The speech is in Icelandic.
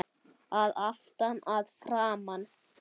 Að aftan, að framan?